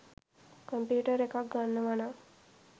computer එකක් ගන්නවනං